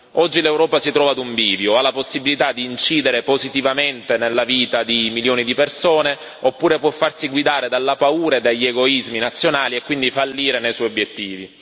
Oggi l'Europa si trova ad un bivio ha la possibilità di incidere positivamente nella vita di milioni di persone oppure può farsi guidare dalla paura e dagli egoismi nazionali e quindi fallire nei suoi obiettivi.